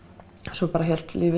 svo bara hélt lífið